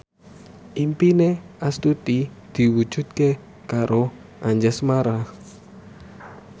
impine Astuti diwujudke karo Anjasmara